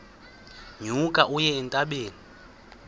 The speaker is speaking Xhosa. nyuka uye entabeni